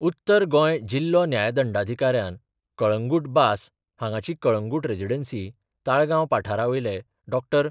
उत्तर गोंय जिल्हो न्यायदंडाधिकाऱ्यान कळंगुट बास हांगाची कळंगुट रेजिडन्सी, ताळगांव पठारावयले डॉ.